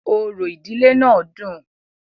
Orò ìdílé náà dùn-ùn.